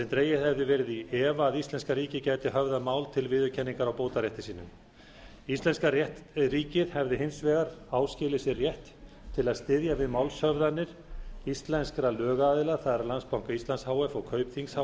dregið hefði verið í efa að íslenska ríkið gæti höfðað mál til viðurkenningar á bótarétti sínum íslenska ríkið hefði hins vegar áskilið sér rétt til að styðja við málshöfðanir íslenskra lögaðila það er landsbanka íslands h f og kaupþings h